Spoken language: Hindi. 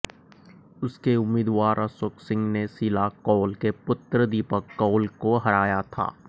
उसके उम्मीदवार अशोक सिंह ने शीला कौल के पुत्र दीपक कौल को हराया था